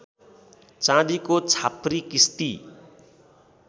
चाँदीको छाप्री किस्ती